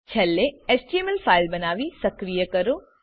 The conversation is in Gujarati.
છેલ્લે એચટીએમએલ ફાઇલ બનાવી સક્રિય કરો